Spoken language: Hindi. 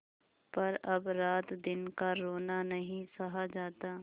पर अब रातदिन का रोना नहीं सहा जाता